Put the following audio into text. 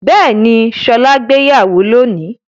Bẹ́ẹ̀ni, Ṣọlá gbéyàwó lónìí.